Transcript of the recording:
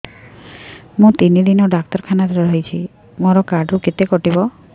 ମୁଁ ତିନି ଦିନ ଡାକ୍ତର ଖାନାରେ ରହିଛି ମୋର କାର୍ଡ ରୁ କେତେ କଟିବ